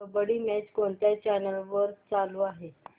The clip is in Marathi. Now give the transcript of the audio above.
कबड्डी मॅच कोणत्या चॅनल वर चालू आहे